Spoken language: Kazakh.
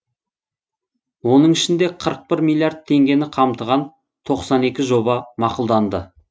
оның ішінде қырық бір миллиард теңгені қамтыған тоқсан екі жоба мақұлданды